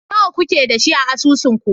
Nawa kuke da shi a asusunku?